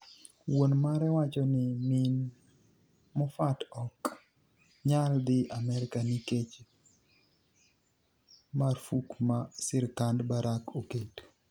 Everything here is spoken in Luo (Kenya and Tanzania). Wuoni mare wacho nii mini Mofat ok niyal dhi Amerka niikech marfuk ma sirkanid Barak oketo.